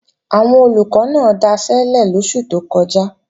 Àwọn Olùkọ́ náà daṣẹ́lẹ̀ lóṣù tó kọjá